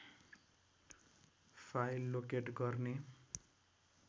file locate गर्ने